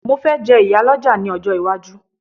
mo fe je iyaloja ni ojo iwaju